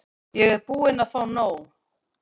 Ég er búin að fá nóg.